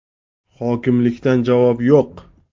Hokimlikdan javob yo‘q.